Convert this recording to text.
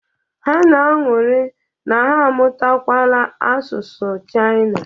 Ha na-aṅụrị na ha amụtawala asụsụ Chaịna.